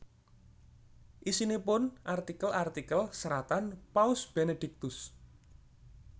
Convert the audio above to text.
Isinipun artikel artikel seratan Paus Benediktus